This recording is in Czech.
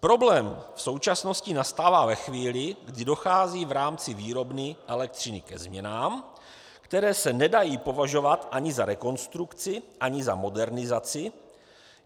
Problém v současnosti nastává ve chvíli, kdy dochází v rámci výrobny elektřiny ze změnám, které se nedají považovat ani za rekonstrukci ani za modernizaci.